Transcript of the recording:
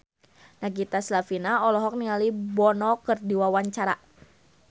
Nagita Slavina olohok ningali Bono keur diwawancara